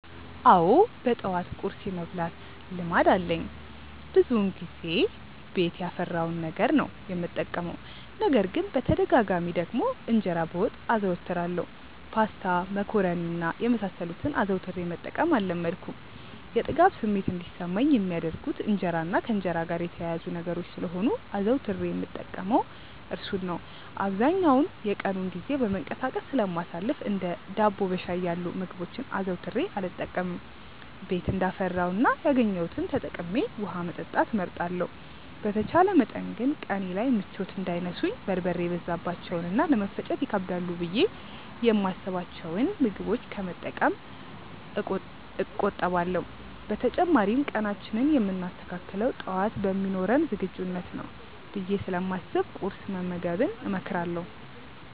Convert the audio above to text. አዎ በጠዋት ቁርስ የመብላት ልማድ አለኝ። ብዙውን ጊዜ ቤት ያፈራውን ነገር ነው የምጠቀመው። ነገር ግን በተደጋጋሚ ደግሞ እንጀራ በወጥ አዘወትራለሁ። ፓስታ፣ መኮሮኒ እና የመሳሰሉትን አዘውትሬ መጠቀም አልለመድኩም። የጥጋብ ስሜት እንዲሰማኝ የሚያደርጉት እንጀራ እና ከእንጀራ ጋር የተያያዙ ነገሮች ስለሆኑ አዘውትሬ የምጠቀመው እርሱን ነው። አብዛኛውን የቀኑን ጊዜ በመንቀሳቀስ ስለማሳልፍ እንደ ዳቦ በሻይ ያሉ ምግቦችን አዘውትሬ አልጠቀምም። ቤት እንዳፈራው እና ያገኘሁትን ተጠቅሜ ውሀ መጠጣት እመርጣለሁ። በተቻለ መጠን ግን ቀኔ ላይ ምቾት እንዳይነሱኝ በርበሬ የበዛባቸውን እና ለመፈጨት ይከብዳሉ ብዬ የማስብቸውን ምግቦች ከመጠቀም እቆጠባለሁ። በተጨማሪም ቀናችንን የምናስተካክለው ጠዋት በሚኖረን ዝግጁነት ነው ብዬ ስለማስብ ቁርስ መመገብን እመክራለሁ።